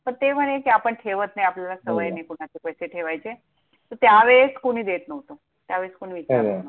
पण ते म्हणे ते आपण ठेवत नाही, आपल्याला सवय नाही हो ना कुणाचे पैसे ठेवायचे, तर त्या वेळेस कुणी देत नव्हतं, त्या वेळेस कुणी खरंय विचारत नव्हतं.